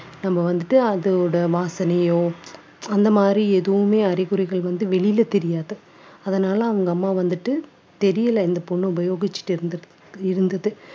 நம்ம வந்துட்டு அதோட வாசனையோ அந்த மாதிரி எதுவுமே அறிகுறிகள் வந்து வெளியில தெரியாது. அதனால அவங்க அம்மா வந்துட்டு தெரியலை இந்த பொண்ணு உபயோகிச்சுட்டு இருந்த~ இருந்தது